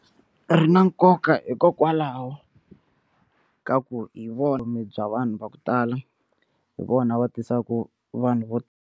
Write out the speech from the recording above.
Ri na nkoka hikokwalaho ka ku hi vona vutomi bya vanhu va ku tala hi vona va tisaka vanhu vo.